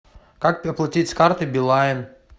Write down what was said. как оплатить с карты билайн